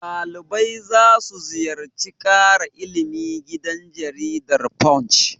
Ɗalibai za su ziyarar ƙara ilimi gidan jaridar Punch.